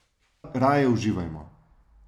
Raje uživajmo.